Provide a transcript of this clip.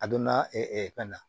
A donna fɛn na